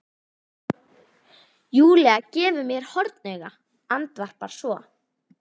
Júlía gefur mér hornauga, andvarpar svo.